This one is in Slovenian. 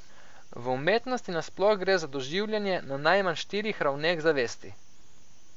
V umetnosti na sploh gre za doživljanje na najmanj štirih ravneh zavesti.